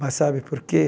Mas sabe por quê?